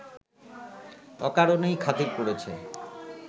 অকারণেই খাতির করেছে